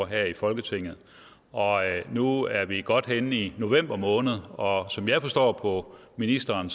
her i folketinget og nu er vi godt henne i november måned og som jeg forstår ministeren